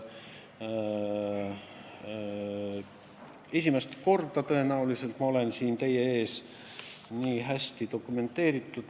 Tõenäoliselt esimest korda ma olen teie ees praegu väga hästi dokumentidega varustatult.